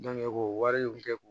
ko wariw bɛ kɛ ko